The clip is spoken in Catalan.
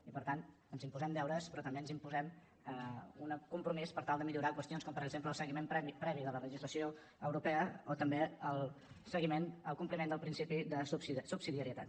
i per tant ens imposem deures però també ens imposem un compromís per tal de millorar qüestions com per exemple el seguiment previ de la legislació europea o també el compliment del principi de subsidiarietat